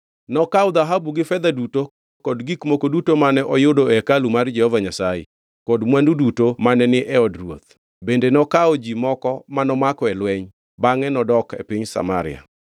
Nokawo dhahabu gi fedha duto kod gik moko duto mane oyudo e hekalu mar Jehova Nyasaye kod mwandu duto mane ni e od ruoth, bende nokawo. Ji moko mano mako e lweny, bangʼe nodok e piny Samaria.